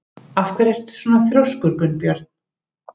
Af hverju ertu svona þrjóskur, Gunnbjörg?